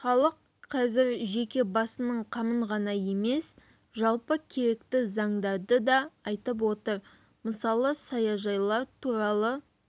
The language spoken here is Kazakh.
халық қазір жеке басының қамын ғана емес жалпы керекті заңдарды да айтып отыр мысалы саяжайлар туралы